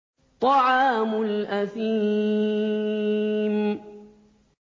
طَعَامُ الْأَثِيمِ